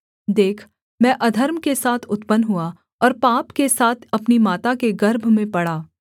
देख मैं अधर्म के साथ उत्पन्न हुआ और पाप के साथ अपनी माता के गर्भ में पड़ा